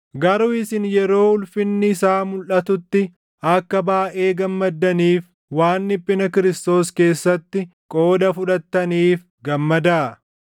Garuu isin yeroo ulfinni isaa mulʼatutti akka baayʼee gammaddaniif waan dhiphina Kiristoos keessatti qooda fudhattaniif gammadaa.